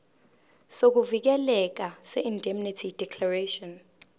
sokuvikeleka seindemnity declaration